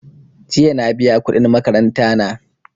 Jiya na biya kuɗin makaranta na.